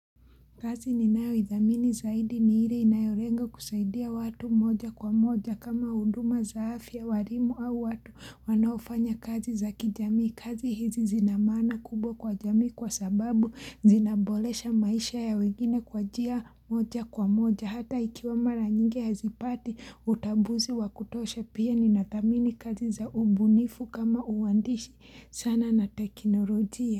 Kazi ninayo idhamini zaidi ni ile inayolenga kusaidia watu moja kwa moja kama huduma za afya, ualimu au watu wanaofanya kazi za kijamii kazi hizi zina maana kubwa kwa jamii kwa sababu zinaboresha maisha ya wengine kwa njia moja kwa moja hata ikiwa mara nyingi hazipati utambuzi wakutosha pia ninadhamini kazi za ubunifu kama uandishi sana na teknolojia.